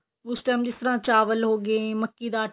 ਉਸ time ਜਿਸ ਤਰ੍ਹਾਂ ਚਾਵਲ ਹੋ ਗਏ ਮੱਕੀ ਦਾ ਆਟਾ